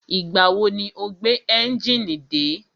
Ìgbà wo ni o gbé ẹ́njìnì dé?